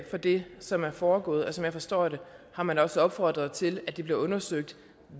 fra det som er foregået og som jeg forstår det har man også opfordret til at det bliver undersøgt